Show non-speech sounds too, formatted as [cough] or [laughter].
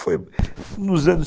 Foi nos anos [unintelligible]